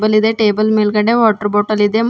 Table ಇದೆ table ಮೇಲ್ಗಡೆ water bottle ಇದೆ.